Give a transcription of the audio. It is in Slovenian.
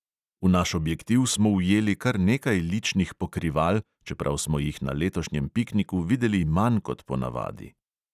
V naš objektiv smo ujeli kar nekaj ličnih pokrival, čeprav smo jih na letošnjem pikniku videli manj kot ponavadi.